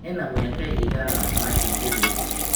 ena mĩaka ĩigana Martin Githinji